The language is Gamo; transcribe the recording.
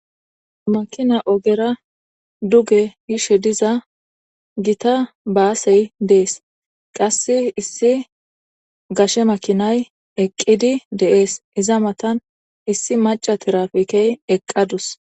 makina ogera duge yishe diza gita baasey dees qass issi gashe makinay eqqidi deees iza matan issi maca tirapikey eqqadus